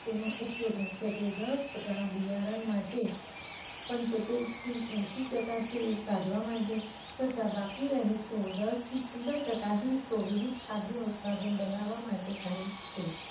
તેનો ઉપયોગ મુખ્યત્વે દસ ટકા બિયારણ માટે પંચોતેર થી એશિ ટકા તેલ કાઢવા માટે તથા બાકી રહેતો દસ થી પંદર ટકા હિસ્સો વિવિધ ખાદ્ય ઉત્પાદન બનાવવા માટે થાય છે.